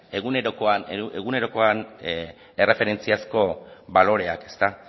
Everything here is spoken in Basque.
egunerokoan erreferentziazko baloreak